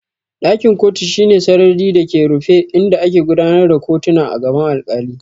Ɗakin kotu shine sarari da ke rufe inda ake gudanar da kotuna a gaban alkali.